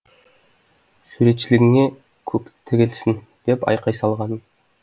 суретшілігіңе көктігілсін деп айқай салғанмын